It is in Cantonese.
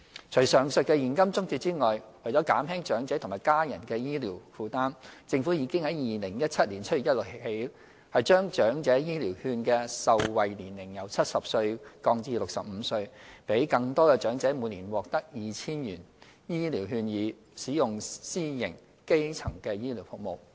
除上述的現金津貼外，為減輕長者和家人的醫療負擔，政府已在2017年7月1日起將"長者醫療券"的受惠年齡由70歲降至65歲，讓更多長者每年獲得 2,000 元醫療券以使用私營基層醫療服務。